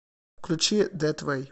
включи дэт вэй